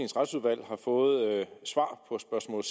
retsudvalg har fået svar på spørgsmål